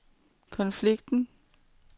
konflikten